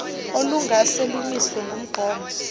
olungase lumiswe ngumgomo